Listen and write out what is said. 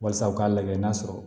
Walasa u k'a lajɛ n'a sɔrɔ